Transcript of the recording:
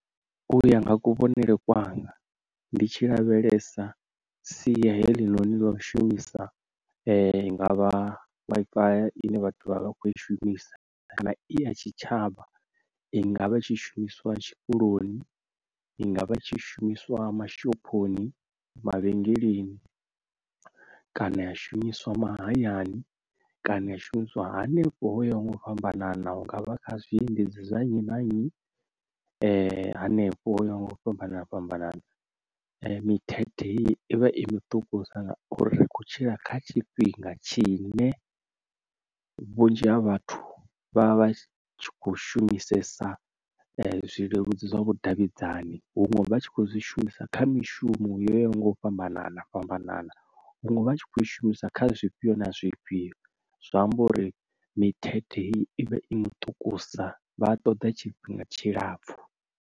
Uya nga kuvhonele kwanga ndi tshi lavhelesa sia helinoni lau shumisa i nga vha Wi-Fi ine vhathu vha vha vha khoi shumisa kana i ya tshitshavha i nga vha tshishumiswa tshikoloni, i nga vha tshi shumiswa mashophoni, mavhengeleni, kana ya shumiswa mahayani, kana a shumisiwa hanefho ho yaho nga u fhambanana hungavha kha zwiendedzi zwa nnyi na nnyi, henefho hoyaho nga u fhambana fhambana mithethe i vha i miṱukusa uri ri khou tshila kha tshifhinga tshi ne vhunzhi ha vhathu vha vha tshi kho shumisesa zwileludzi zwa vhudavhidzani huṅwe vha tshi kho zwi shumisa kha mishumo yo yaho nga u fhambanana fhambanana, huṅwe vha tshi kho i shumisa kha zwifhio na zwifhio zwa amba uri mithethe ivha i miṱukusa vha a ṱoḓa tshifhinga tshilapfu.